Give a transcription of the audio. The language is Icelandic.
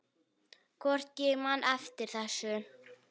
Hvort ég man eftir þessu.